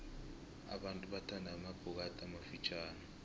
abantu bathanda amabhokathi amafitjhani